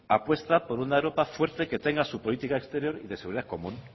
apuesta por una europa fuerte que tenga su política exterior de seguridad común